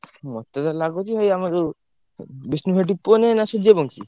ମତେ ତ ଲାଗୁଚି ଭାଇ ଆମର ଯୋଉ ବିଷ୍ଣୁ ସେଠୀ ପୁଅ ନୁହେଁ ନା ସୂର୍ଯ୍ୟ ବଂଶୀ।